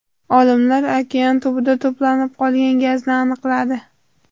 Olimlar okean tubida to‘planib qolgan gazni aniqladi.